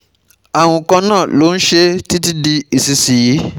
Àrùn kan náà ló ń ṣe é títí di ìsinsìnyí